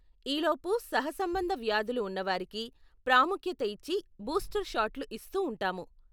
ఈ లోపు సహసంబంధ వ్యాధులు ఉన్నవారికి ప్రాముఖ్యత ఇచ్చి బూస్టర్ షాట్లు ఇస్తూ ఉంటాము.